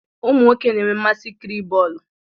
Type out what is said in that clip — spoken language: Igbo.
Umu nwoke na enwe mmasị ị kiri bọọlụ